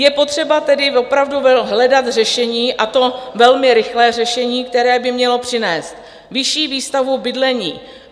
Je potřeba tedy opravdu hledat řešení, a to velmi rychlé řešení, které by mělo přinést vyšší výstavbu bydlení.